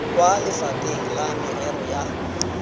kwa lefapheng la merero ya